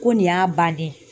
Ko nin y'a bannen ye.